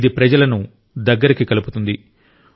ఇది ప్రజలను దగ్గరికి కలుపుతుంది